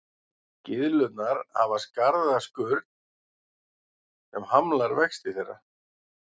Gyðlurnar hafa harða skurn sem hamlar vexti þeirra.